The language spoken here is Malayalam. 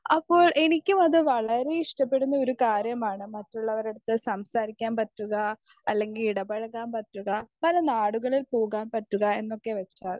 സ്പീക്കർ 1 അപ്പോൾ എനിക്കും അത് വളരെ ഇഷ്ടപ്പെടുന്ന ഒരു കാര്യമാണ് മറ്റുള്ളവരുടെയടുത്ത് സംസാരിക്കാൻ പറ്റുക അല്ലെങ്കിൽ ഇടപെഴുകാൻ പറ്റുക പല നാടുകളിൽ പോകാൻ പറ്റുക എന്നൊക്കെ വെച്ചാൽ.